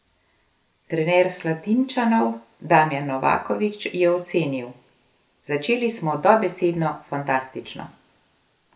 Trener Slatinčanov Damjan Novaković je ocenil: "Začeli smo dobesedno fantastično.